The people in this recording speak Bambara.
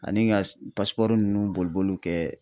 Ani ga s pasipɔri nunnu boliboliw kɛ